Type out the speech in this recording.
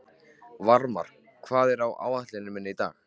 Varmar, hvað er á áætluninni minni í dag?